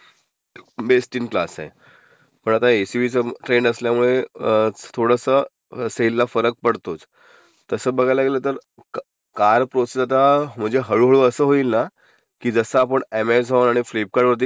Best in class आहे. पण आता ए्स्यूव्ही ट्रेंड असल्यामुळे ...अं.........तर सेल ला फरक पडतोच. तसं बघायला गेलं तर कारचं म्हणजे आता हळूहळू असं होईल ना की जसं आपणं, ऍमेझॉन आणि फ्लिपकार्डवरती